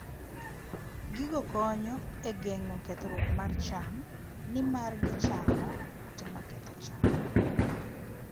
Gigo konyo e geng'o kethruok mar cham, nimar gichamo kute maketho cham.